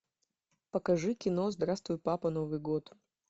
покажи кино здравствуй папа новый год